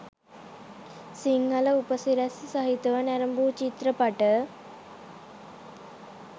සිංහල උපසිරැසි සහිතව නැරඹූ චිත්‍රපට